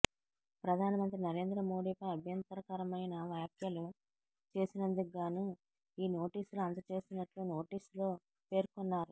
ప్రధానమంత్రి నరేంద్ర మోడీ పై అభ్యంతరకరమైన వ్యాఖ్యలు చేసినందుకుగాను ఈ నోటీసులు అందచేసినట్లు నోటీసులో పేర్కొన్నారు